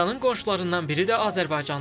İranın qonşularından biri də Azərbaycandır.